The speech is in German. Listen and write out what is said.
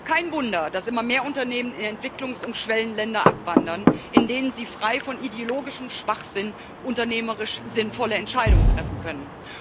Kein Wunder, dass immer mehr Unternehmen in Entwicklungs und Schwellenländer abwandern, in denen sie frei von ideologischem Schwachsinn unternehmerisch sinnvolle Entscheidungen treffen können.